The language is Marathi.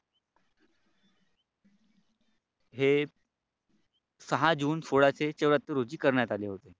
हे सहा जून सोळाशे चौर्याहत्त्तर रोजी करण्यात आले होते.